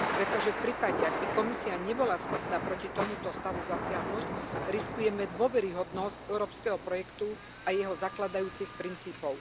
Pretože v prípade, ak by komisia nebola schopná proti tomuto stavu zasiahnuť, riskujeme dôveryhodnosť európskeho projektu a jeho zakladajúcich princípov.